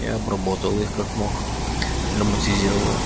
я обработал их как мог драматизировал